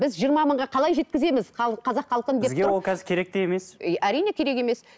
біз жиырма мыңға қалай жеткіземіз қазақ халқын деп тұрып бізге ол қазір керек те емес и әрине керек емес